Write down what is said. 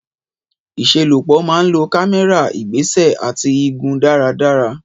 Ìṣelọ́pọ̀ máa ń lo kámẹ́rà, ìgbésẹ̀, àti igun dáradára.